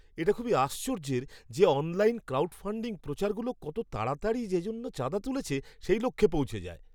এটা খুবই আশ্চর্যের যে অনলাইন ক্রাউডফান্ডিং প্রচারগুলো কত তাড়াতাড়ি যেজন্যে চাঁদা তুলছে, সেই লক্ষ্যে পৌঁছে যায়!